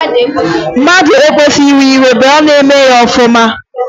A chụọ ma e nwudeghi, a ga-arahụ n'agụ?